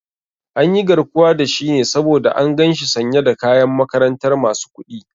An yi garkuwa da shi ne saboda an gan shi sanye da kayan makarantar masu kuɗi